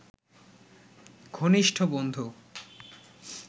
ঘনিষ্ঠ বন্ধু